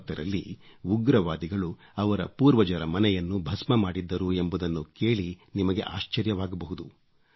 1990 ರಲ್ಲಿ ಉಗ್ರವಾದಿಗಳು ಅವರ ಪೂರ್ವಜರ ಮನೆಯನ್ನು ಭಸ್ಮ ಮಾಡಿದ್ದರು ಎಂಬುದನ್ನು ಕೇಳಿ ನಿಮಗೆ ಆಶ್ಚರ್ಯವಾಗಬಹುದು